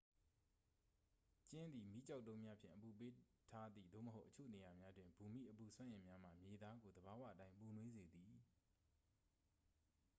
ကျင်းသည် မီးကျောက်တုံးများဖြင့် အပူပေးထားသည် သို့မဟုတ် အချို့နေရာများတွင် ဘူမိအပူစွမ်းအင်များမှ မြေသားကို သဘာဝအတိုင်းပူနွေးစေသည်